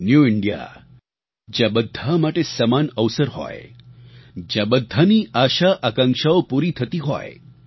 new India જ્યાં બધા માટે સમાન અવસર હોય જ્યાં બધાની આશાઆકાંક્ષાઓ પૂરી થતી હોય